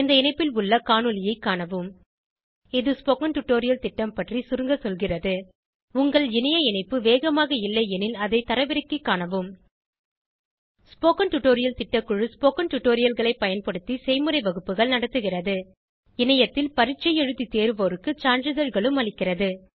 இந்த இணைப்பில் உள்ள காணொளியைக் காணவும் இது ஸ்போகன் டுடோரியல் திட்டம் பற்றி சுருங்க சொல்கிறது உங்கள் இணைய இணைப்பு வேகமாக இல்லையெனில் அதை தரவிறக்கிக் காணவும் ஸ்போகன் டுடோரியல் திட்டக்குழு ஸ்போகன் டுடோரியல்களைப் பயன்படுத்தி செய்முறை வகுப்புகள் நடத்துகிறது இணையத்தில் பரீட்சை எழுதி தேர்வோருக்கு சான்றிதழ்களும் அளிக்கிறது